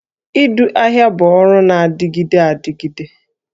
Ịzụ ahịa bụ ọrụ na-adịgide adịgide